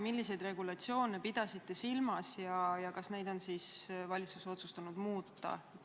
Milliseid regulatsioone te silmas pidasite ja kas valitsus on otsustanud neid muuta?